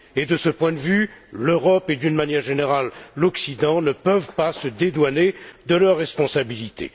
De ce point de vue, l'Europe et, d'une manière générale, l'Occident, ne peuvent pas se dédouaner de leurs responsabilités.